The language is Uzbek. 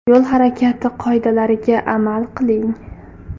Yo‘l harakati qoidalariga amal qiling.